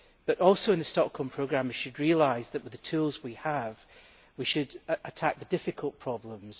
But also in the Stockholm Programme we should realise that, with the tools we have, we should attack the difficult problems.